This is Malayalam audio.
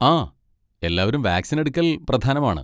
ആ, എല്ലാരും വാക്സിൻ എടുക്കൽ പ്രധാനമാണ്.